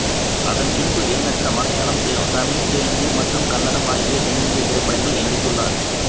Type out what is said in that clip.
அதன் பின்பு எண்ணற்ற மலையாளம் தமிழ் தெலுங்கு மற்றும் கன்னடம் ஆகிய தென்னிந்திய திரைப்படங்களில் நடித்துள்ளார்